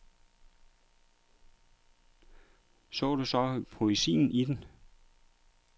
Så du så poesien i den?